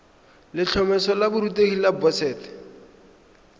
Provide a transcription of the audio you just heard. letlhomeso la borutegi la boset